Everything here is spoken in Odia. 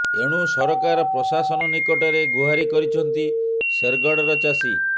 ଏଣୁ ସରକାର ପ୍ରଶାସନ ନିକଟରେ ଗୁହାରି କରିଛନ୍ତି ଶେରଗଡ଼ ର ଚାଷୀ